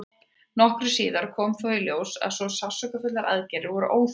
nokkru síðar kom þó í ljós að svo sársaukafullar aðgerðir voru óþarfar